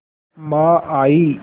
माँ आयीं